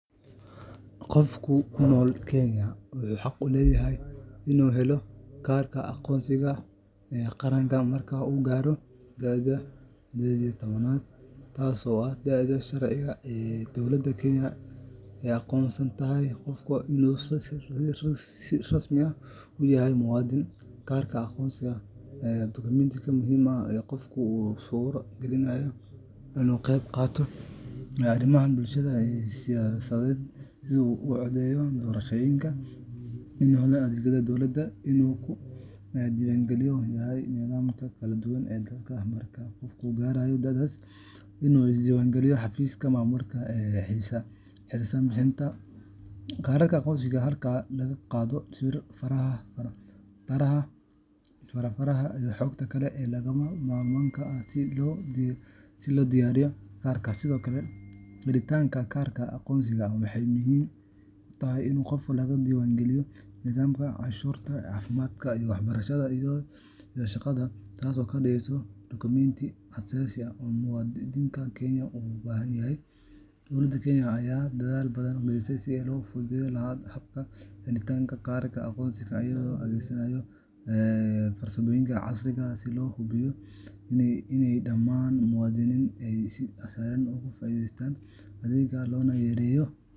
Qofka ku nool Kenya wuxuu xaq u leeyahay inuu helo kaarka aqoonsiga qaranka marka uu gaaro da’da sided iyo toban sano, taasoo ah da’da sharciga ah ee dowladda Kenya ay u aqoonsan tahay qofka inuu si rasmi ah u yahay muwaadin. Kaarka aqoonsiga qaranka waa dukumenti muhiim ah oo qofka u suura geliya inuu ka qeyb qaato arrimaha bulshada iyo siyaasadda, sida inuu codeeyo doorashooyinka, inuu helo adeegyada dowladda, iyo inuu ka diiwaangashan yahay nidaamyada kala duwan ee dalka. Marka qofku gaaro da’daas, waa inuu is-diiwaangeliyaa xafiisyada maamulka ee u xilsaaran bixinta kaararka aqoonsiga, halkaasoo lagaa qaado sawir, faraha faraha, iyo xogta kale ee lagama maarmaanka ah si loo diyaariyo kaarka. Sidoo kale, helitaanka kaarka aqoonsiga waxay muhiim u tahay in qofka laga diiwaan geliyo nidaamka canshuuraha, caafimaadka, waxbarashada, iyo shaqada, taasoo ka dhigaysa dukumenti aas-aasi ah oo muwaadinka Kenya uu u baahan yahay. Dowladda Kenya ayaa dadaal badan gelisay sidii loo fududeyn lahaa habka helitaanka kaarka aqoonsiga, iyagoo adeegsanaya farsamooyin casri ah si loo hubiyo in dhammaan muwaadiniintu ay si sahlan uga faa’iideystaan adeegan, loona yareeyo.